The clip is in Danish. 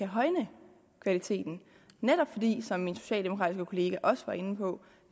højne kvaliteten netop fordi som min socialdemokratiske kollega også var inde på